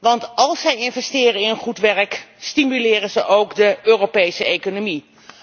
want als zij investeren in goed werk stimuleren ze ook de Europese economie.